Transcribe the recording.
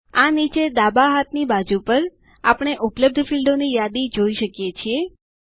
આ નીચે ડાબા હાથની બાજુ પર આપણે ઉપલબ્ધ ફીલ્ડોની યાદી જોઈ શકીએ છીએ